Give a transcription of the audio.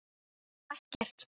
Hún á ekkert annað skilið af honum.